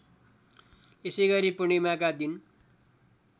यसैगरी पूर्णिमाका दिन